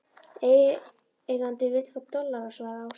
Eigandinn vill fá dollara, svaraði Ásta.